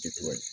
Ti tugun